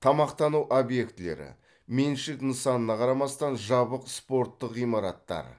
тамақтану объектілері меншік нысанына қарамастан жабық спорттық ғимараттар